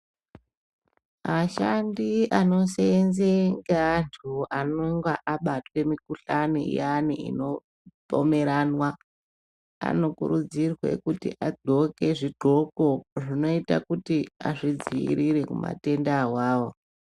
Ashandi anoseenze ngeantu anenge abatwe mikuhlani iyani inopomeranwa anokurudzirwa kuti adxoke zvidxoko zvinoite kuti azvidziirire kumatenda awawo.